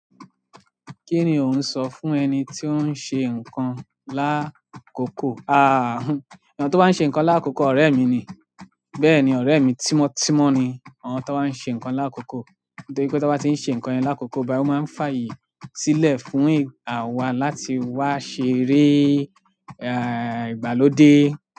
Kini o oun so fún eniti oun se nkan lakoko. Eyan to ba nse nkan lakoko, orẹ́ mi ní. Bẹ́ẹ̀ ni, ọ̀rẹ́ mi tímọ́tímọ́ ni. Àwọn tọ́ bá ń ṣe nǹkan l'akoko, nítorí pé tiwon bá ti ń ṣe nǹkan l'akoko báyìí, ó máa ń fàyè sílẹ̀ fún àwa láti wá ṣeré, à, ìgbàlódé.